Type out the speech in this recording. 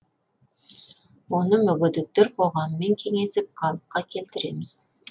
оны мүгедектер қоғамымен кеңесіп қалыпқа келтіреміз